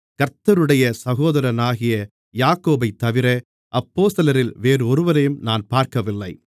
கர்த்தருடைய சகோதரனாகிய யாக்கோபைத்தவிர அப்போஸ்தலரில் வேறொருவரையும் நான் பார்க்கவில்லை